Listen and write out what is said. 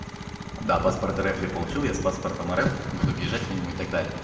да паспорт рф я получил я с паспортом рф буду въезжать по нему и так далее